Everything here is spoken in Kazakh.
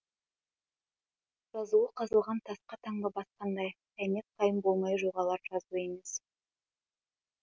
жазуы қазылған тасқа таңба басқандай қиямет қайым болмай жоғалар жазу емес